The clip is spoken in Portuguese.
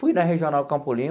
Fui na Regional Campo Limpo